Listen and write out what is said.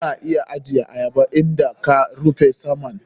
Kuna iya ajiyar ayaba idan ka rufe saman.